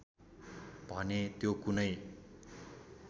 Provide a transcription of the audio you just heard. भने त्यो कुनै